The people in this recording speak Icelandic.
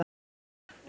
Ögn